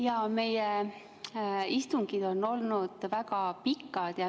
Jaa, meie istungid on olnud väga pikad.